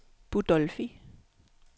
Budolfi